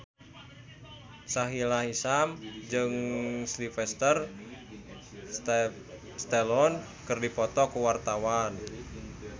Sahila Hisyam jeung Sylvester Stallone keur dipoto ku wartawan